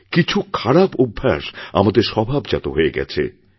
কিছু খারাপ অভ্যাস আমাদের স্বভাবজাত হয়ে গেছে